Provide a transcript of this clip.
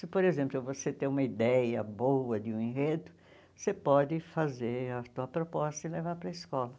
Se, por exemplo, você tem uma ideia boa de um enredo, você pode fazer a sua proposta e levar para a escola.